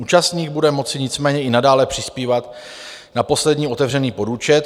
Účastník bude moci nicméně i nadále přispívat na poslední otevřený podúčet.